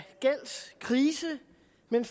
den